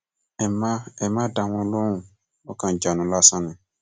ẹ má ẹ má dá wọn lóhùn wọn kàn ń jánu lásán ni